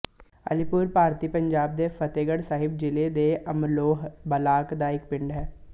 ਅਲੀਪੁਰ ਭਾਰਤੀ ਪੰਜਾਬ ਦੇ ਫ਼ਤਹਿਗੜ੍ਹ ਸਾਹਿਬ ਜ਼ਿਲ੍ਹੇ ਦੇ ਅਮਲੋਹ ਬਲਾਕ ਦਾ ਇੱਕ ਪਿੰਡ ਹੈ